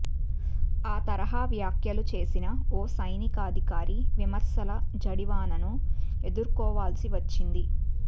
ఆ తరహా వ్యాఖ్యలు చేసిన ఓ సైనికాధికారి విమర్శల జడివానను ఎదుర్కోవాల్సి వచ్చింది